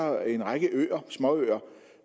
er en række småøer